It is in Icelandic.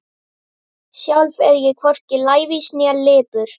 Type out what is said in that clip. Sjálf er ég hvorki lævís né lipur.